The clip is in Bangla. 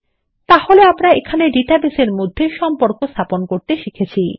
তাহলে আমরা এখানে ডাটাবেসের মধ্যে সম্পর্ক স্থাপন করতে শিখেছি